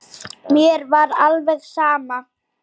Mér var alveg sama.